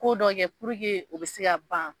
Ko dɔ kɛ o bɛ se ka ban.